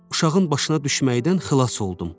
Uşağın başına düşməkdən xilas oldum.